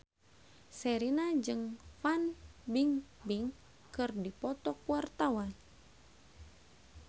Sherina jeung Fan Bingbing keur dipoto ku wartawan